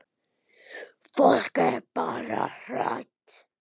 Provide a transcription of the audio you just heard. Fólk er bara hrætt.